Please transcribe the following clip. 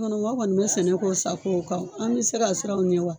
An kɔni an kɔni be sɛnɛ k'o sako kan an be se ka siran o ɲɛ wa